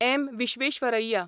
M. Visvesvaraya